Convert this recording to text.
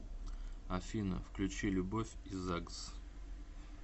афина включи любовь и загс